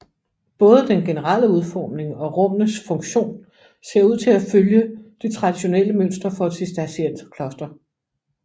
Både den generelle udforming og rummenes funktion ser ud til at følge det traditionelle mønster for et cistercienserkloster